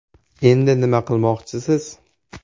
Endi nima qilmoqchisiz?